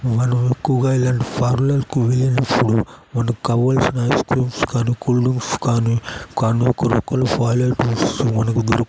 మనం ఎక్కువగా ఇలాంటి పార్లర్ కు వెళ్ళినప్పుడు మనకి కావలసిన ఐస్క్రీమ్స్ కానీ కూల్డ్రింక్స్ కానీ--